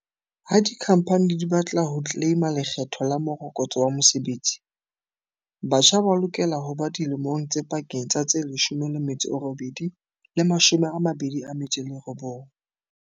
Ha dikhamphani di ba tla ho tleleima Lekgetho la Morokotso wa Mosebetsi, batjha ba lokela ho ba dilemong tse pakeng tsa tse 18 le 29.